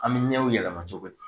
An mi ɲɛw yɛlɛma cogo di?